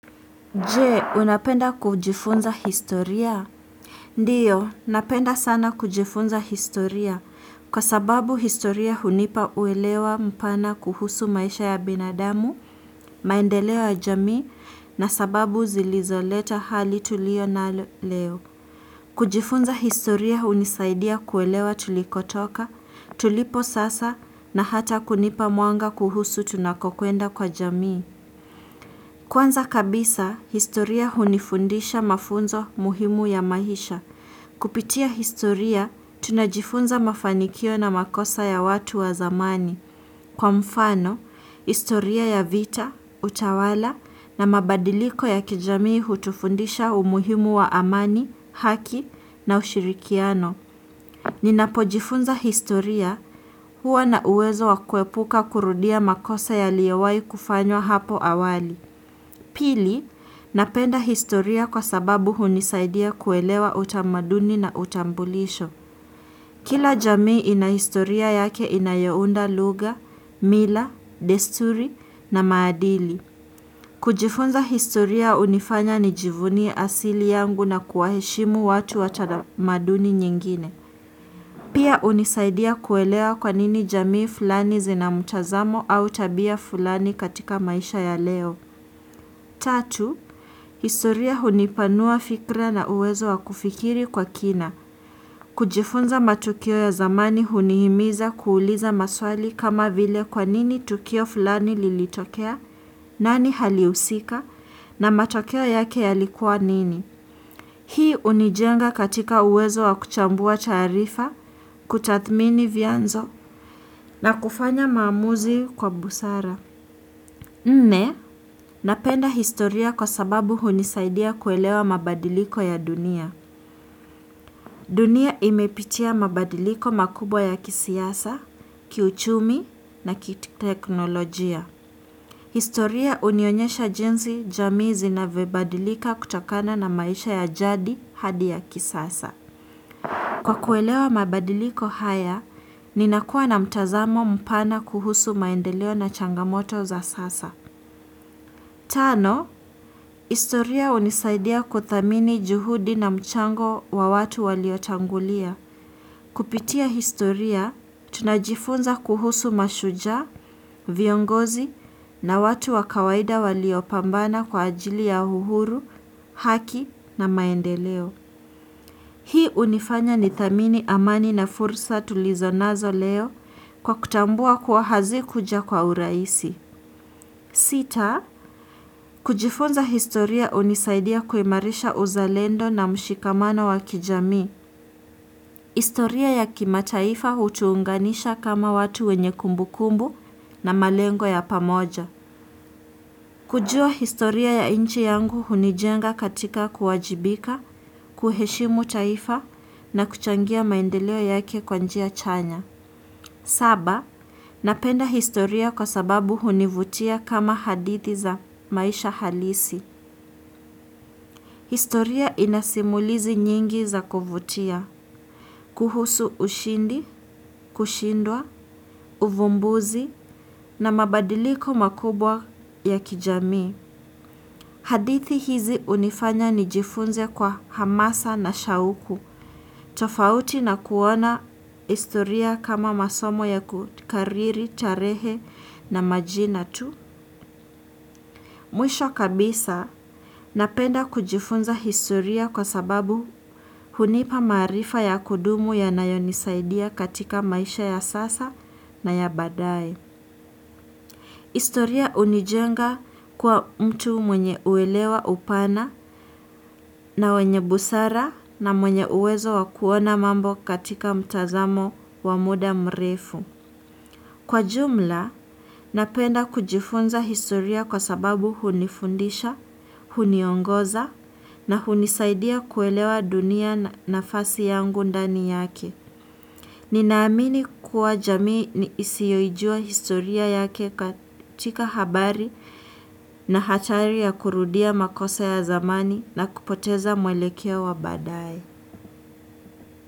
Je, unapenda kujifunza historia? Ndiyo, napenda sana kujifunza historia kwa sababu historia hunipa uwelewa mpana kuhusu maisha ya binadamu, maendeleon ya jamii na sababu zilizoleta hali tulio nalo leo. Kujifunza historia hunisaidia kuelewa tulikotoka tulipo sasa na hata kunipa mwanga kuhusu tunakokwenda kwa jamii. Kwanza kabisa, historia hunifundisha mafunzo muhimu ya mahisha. Kupitia historia, tunajifunza mafanikio na makosa ya watu wa zamani. Kwa mfano, historia ya vita, utawala na mabadiliko ya kijamii hutufundisha umuhimu wa amani, haki na ushirikiano. Ninapojifunza historia huwa na uwezo wa kuepuka kurudia makosa yaliyowahi kufanywa hapo awali. Pili, napenda historia kwa sababu hunisaidia kuelewa utamaduni na utambulisho. Kila jamii ina historia yake inayounda lugha, mila, desturi na maadili. Kujifunza historia hunifanya nijivunie asili yangu na kuwaheshimu watu watana maduni nyingine. Pia hunisaidia kuelewa kwa nini jamii fulani zina mtazamo au tabia fulani katika maisha ya leo. Tatu, historia hunipanua fikra na uwezo wa kufikiri kwa kina. Kujifunza matukio ya zamani hunihimiza kuuliza maswali kama vile kwa nini tukio fulani lilitokea, nani halihusika, na matokeo yake yalikuwa nini. Hii hunijenga katika uwezo wa kuchambua taarifa, kutadhmini vianzo na kufanya maamuzi kwa busara. Nne, napenda historia kwa sababu hunisaidia kuelewa mabadiliko ya dunia. Dunia imepitia mabadiliko makubwa ya kisiasa, kiuchumi na ki teknolojia. Historia hunionyesha jinsi, jamii navyobadilika kutokana na maisha ya jadi hadi ya kisasa. Kwa kuelewa mabadiliko haya, ninakua na mtazamo mpana kuhusu maendeleo na changamoto za sasa. Tano, historia hunisaidia kudhamini juhudi na mchango wa watu waliotangulia. Kupitia historia, tunajifunza kuhusu mashujaa, viongozi na watu wakawaida waliopambana kwa ajili ya uhuru, haki na maendeleo. Hii hunifanya ni dhamini amani na fursa tulizonazo leo kwa kutambua kuwa hazikuja kwa uraisi. Sita, kujifunza historia hunisaidia kuimarisha uzalendo na mshikamano wakijamii. Historia ya kimataifa hutuunganisha kama watu wenye kumbukumbu na malengo ya pamoja. Kujua historia ya nchi yangu hunijenga katika kuwajibika, kuheshimu taifa na kuchangia maendeleo yake kwa njia chanya. Saba, napenda historia kwa sababu hunivutia kama hadithi za maisha halisi. Historia inasimulizi nyingi za kuvutia, kuhusu ushindi, kushindwa, uvumbuzi na mabadiliko makubwa ya kijamii. Hadithi hizi hunifanya nijifunze kwa hamasa na shauku, tofauti na kuona historia kama masomo ya kukariri, tarehe na majina tu. Mwisho kabisa napenda kujifunza historia kwa sababu hunipa maarifa ya kudumu yanayonisaidia katika maisha ya sasa na ya baadaye historia hunijenga kuwa mtu mwenye uelewa upana na wenye busara na mwenye uwezo wakuona mambo katika mtazamo wa muda mrefu. Kwa jumla, napenda kujifunza historia kwa sababu hunifundisha, huniongoza na hunisaidia kuelewa dunia nafasi yangu ndani yake. Ninaamini kuwa jamii ni isiyoijua historia yake katika habari na hatari ya kurudia makosa ya zamani na kupoteza mwelekeo wa baadaye.